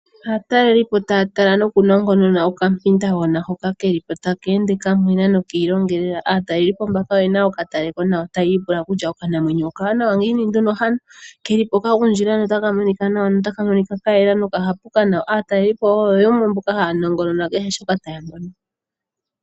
Aatalelipo taya tala nokunongonona okampindagona hoka ke li po ta ke ende kamwena noki ilongelela. Aatalelipo mbaka oye na okataleko nawa taya ipula okutya, okanamwenyo okawanawa ngiini nduno hano? Ke li po ka gundjila nota ka monika kayela nota ka monika kamwena noka hapuka nawa. Aatalelipo oyo yamwe mboka haya nongonona kehe shoka taya mono.